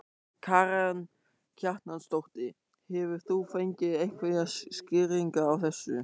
Karen Kjartansdóttir: Hefur þú fengið einhverjar skýringar á þessu?